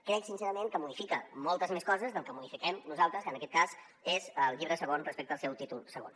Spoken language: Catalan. crec sincerament que modifica moltes més coses del que modifiquem nosaltres que en aquest cas és el llibre segon respecte al seu títol segon